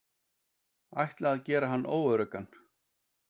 Ætla að gera hann óöruggan.